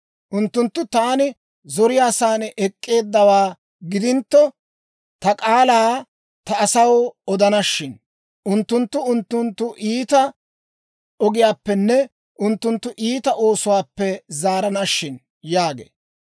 Unttunttu taani zoriyaasan ek'k'eeddawaa gidintto, ta k'aalaa ta asaw odana shin! Unttunttu unttunttu iita ogiyaappenne unttunttu iita oosuwaappe zaarana shin!» yaagee.